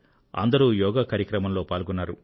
అందరూ యోగా కార్యక్రమంలో పాల్గొన్నారు